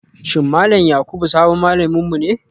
Shin Malam Yakubu sabon malaminmu ne